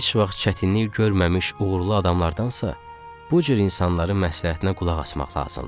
Heç vaxt çətinlik görməmiş uğurlu adamlardansa, bu cür insanların məsləhətinə qulaq asmaq lazımdır.